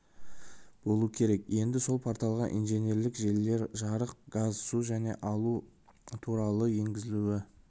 болу керек енді сол порталға инженерлік желілер жарық газ су және алу туралы ақпарат енгізілуі